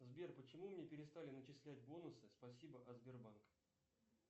сбер почему мне перестали начислять бонусы спасибо от сбербанк